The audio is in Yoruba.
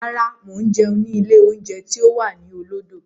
Rárá, mo ń jẹun ni ilé oúnjẹ tí ó wà ní olódó.